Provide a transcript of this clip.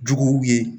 Juguw ye